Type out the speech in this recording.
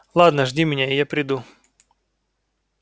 ладно жди меня и я приду